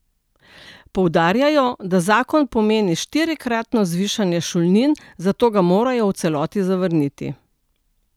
Poudarjajo, da zakon pomeni štirikratno zvišanje šolnin, zato ga morajo v celoti zavrniti.